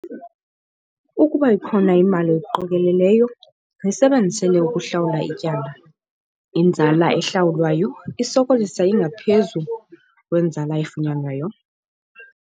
Ukuba ikhona imali oyiqokeleleyo, yisebenzisele ukuhlawula ityala - inzala ehlawulwayo isoloko ingaphezu kwenzala efunyanwayo.